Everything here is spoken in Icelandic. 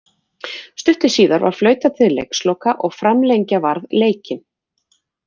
Stuttu síðar var flautað til leiksloka og framlengja varð leikinn.